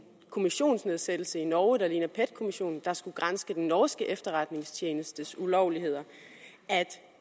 kommissionsnedsættelse i norge der ligner pet kommissionen og som skulle granske den norske efterretningstjenestes ulovligheder at